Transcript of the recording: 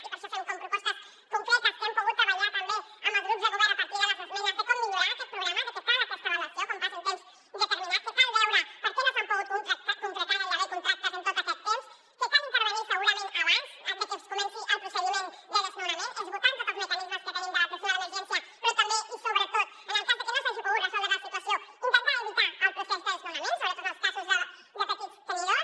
i per això fem propostes concretes que hem pogut treballar també amb els grups de govern a partir de les esmenes de com millorar aquest programa de que cal aquesta avaluació quan passi un temps determinat que cal veure per què no s’han pogut concretar gairebé contractes en tot aquest temps que cal intervenir segurament abans de que comenci el procediment de desnonament esgotant tots els mecanismes que tenim de l’atenció a l’emergència però també i sobretot en el cas de que no s’hagi pogut resoldre la situació intentar evitar el procés de desnonament sobretot en els casos de petits tenidors